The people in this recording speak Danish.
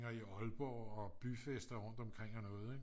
i Aalborg og byfester rundt omkring og noget